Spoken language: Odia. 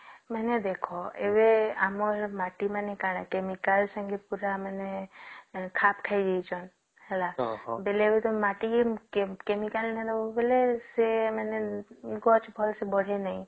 ମାନେ ଦେଖ ଏବେ ଆମର ମାଟି ମାନେ କଣ chemical ସାଙ୍ଗରେ ପୁରା ଖାପ ଖାଇ ଯାଇଛନ ହେଲା ବେଳେ ମାଟିର chemical ନାଇଁ ଦେଲେ ସେ ମାନେ ଗଛ ଭଲ୍ସେ ବଢେ ନାଇଁ